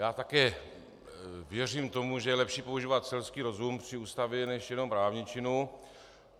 Já také věřím tomu, že je lepší používat selský rozum při Ústavě než jenom právničinu.